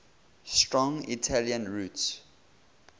strong italian roots